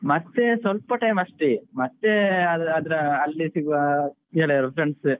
ಮತ್ತೆ ಸ್ವಲ್ಪ time ಅಷ್ಟೆ ಮತ್ತೆ ಅದ್ರ ಅಲ್ಲಿ ಸಿಗುವ ಗೆಳೆಯರು friends